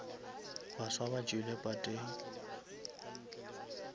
baswa ba tšwile pateng